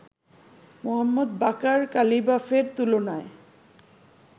Mohammad Baqer কালিবাফের তুলনায়